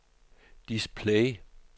display